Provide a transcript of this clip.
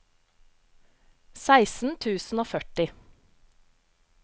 seksten tusen og førti